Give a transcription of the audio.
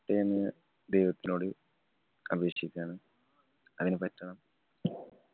റ്റാ എന്ന് ദൈവത്തിനോട് അപേക്ഷിക്യാണ്. അതിനു പറ്റണം